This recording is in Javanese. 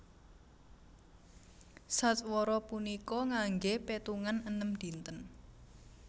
Sadwara punika nganggé pétungan enem dinten